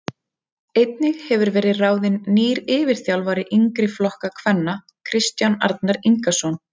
Einnig hefur verið ráðin nýr yfirþjálfari yngri flokka kvenna Kristján Arnar Ingason.